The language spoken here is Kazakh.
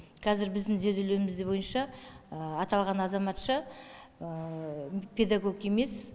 қазір біздің зерделеуіміз де бойынша аталған азаматша педагог емес